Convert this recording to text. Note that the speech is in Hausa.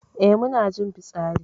Eh mu na jin fitsari.